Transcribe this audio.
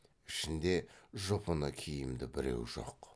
ішінде жұпыны киімді біреу жоқ